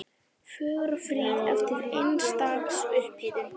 Fögur og fríð eftir eins dags upphitun.